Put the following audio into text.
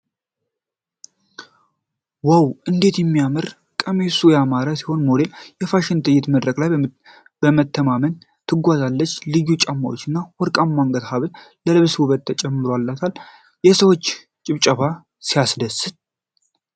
ዋው! እንዴት ሲያምር! ቀሚሱ ያማረ ሲሆን ሞዴሏ በፋሽን ትዕይንት መድረክ ላይ በመተማመን ትጓዛለች። ቀዩ ጫማዋና ወርቃማው የአንገት ሐብል ለልብሱ ውበት ይጨምራሉ። የሰዎች ጭብጨባ ሲያስደስት!